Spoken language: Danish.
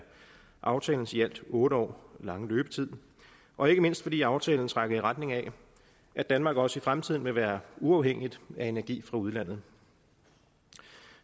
aftalens i alt otte år lange løbetid og ikke mindst fordi aftalen trækker i retning af at danmark også i fremtiden vil være uafhængigt af energi fra udlandet